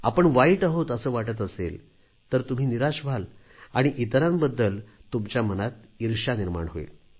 आपण वाईट आहोत असे वाटत असेल तर तुम्ही निराश व्हाल आणि इतरांबद्दल तुमच्या मनात इर्ष्या निर्माण होईल